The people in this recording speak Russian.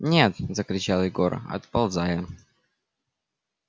нет закричал егор отползая